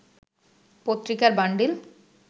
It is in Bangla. পত্রিকার বান্ডিল